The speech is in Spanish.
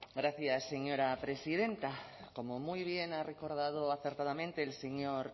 gracias señora presidenta como muy bien ha recordado acertadamente el señor